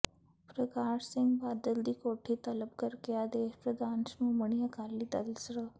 ਪ੍ਰਕਾਸ਼ ਸਿੰਘ ਬਾਦਲ ਦੀ ਕੋਠੀ ਤਲਬ ਕਰਕੇ ਆਦੇਸ਼ ਪ੍ਰਧਾਨ ਸ਼੍ਰੋਮਣੀ ਅਕਾਲੀ ਦਲ ਸ੍ਰ